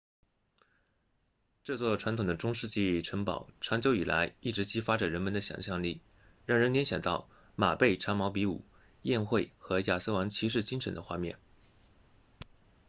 这座传统的中世纪城堡长久以来一直激发着人们的想象力让人联想到马背长矛比武宴会和亚瑟王骑士精神的画面